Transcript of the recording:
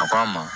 A ko a ma